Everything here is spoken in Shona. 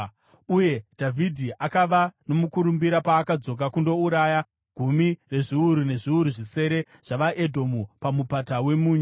Uye Dhavhidhi akava nomukurumbira paakadzoka kundouraya gumi rezviuru nezviuru zvisere zvavaEdhomu paMupata weMunyu.